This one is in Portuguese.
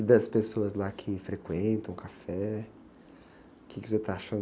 E das pessoas lá que frequentam o café, o quê que você está achando?